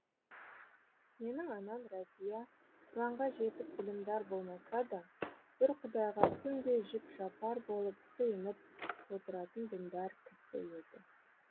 менің анам рәзия құранға жетік білімдар болмаса да бір құдайға күнде жік жапар болып сыйынып отыратын діндар кісі еді